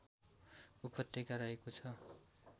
उपत्यका रहेको छ